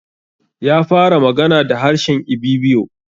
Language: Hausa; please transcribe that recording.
Ya fara magana da harshe Ibibio.